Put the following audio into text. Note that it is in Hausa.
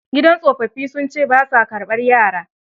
Gidan tsofaffin sun ce ba saa karbar yara.